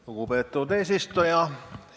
Lugupeetud eesistuja!